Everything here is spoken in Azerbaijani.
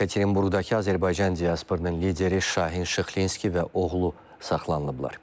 Yekaterinburqdakı Azərbaycan diasporunun lideri Şahin Şıxlinski və oğlu saxlanılıblar.